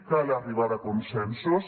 cal arribar a consensos